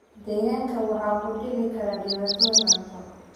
Digaagga waxaa ku dhici kara dhibaatooyin cunto.